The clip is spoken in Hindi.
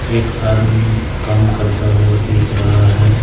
एक आदमी काम करता हुआ देख रहा है।